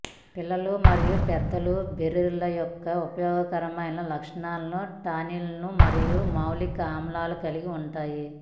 పిల్లలు మరియు పెద్దలకు బెర్రీలు యొక్క ఉపయోగకరమైన లక్షణాలు టానిన్లు మరియు మాలిక్ ఆమ్లం కలిగి ఉంటాయి